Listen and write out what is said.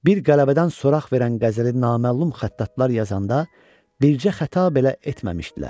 Bir qələbədən soraq verən qəzəli naməlum xəttatlar yazanda bircə xəta belə etməmişdilər.